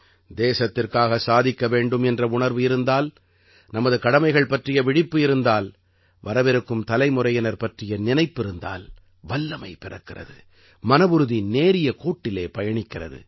தேசத்திற்காக சாதிக்க வேண்டும் என்ற உணர்வு இருந்தால் நமது கடமைகள் பற்றிய விழிப்பு இருந்தால் வரவிருக்கும் தலைமுறையினர் பற்றிய நினைப்பிருந்தால் வல்லமை பிறக்கிறது மனவுறுதி நேரிய கோட்டிலே பயணிக்கிறது